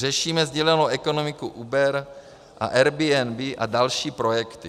Řešíme sdílenou ekonomiku Uber a Airbnb a další projekty.